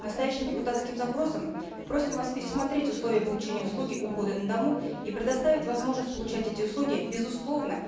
настоящим депутатским запросом просим вас пересмотреть условия получения услуги ухода на дому и предоставить возможность получать эти услуги безусловно